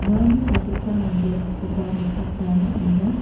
uano adita manderangkoba nikatna man·enga.